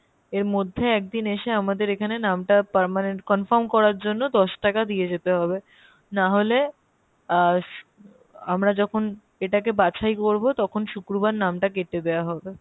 এর মধ্যে একদিন এসে আমাদের এখানে নামটা permanent confirm করার জন্য দশ টাকা দিয়ে যেতে হবে না হলে আহ আমরা যখন এটাকে বাছাই করবো তখন শুক্রবার নামটা কেটে দেওয়া হবে।